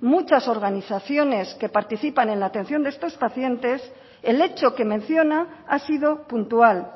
muchas organizaciones que participan en la atención de estos pacientes el hecho que menciona ha sido puntual